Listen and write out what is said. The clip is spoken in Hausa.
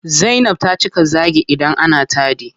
Zainab ta cika zaagi idan ana taɗi.